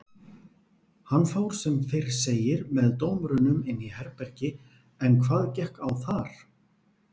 Hann fór sem fyrr segir með dómurunum inn í herbergi en hvað gekk á þar?